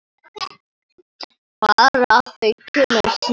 Bara að þau kæmu snemma.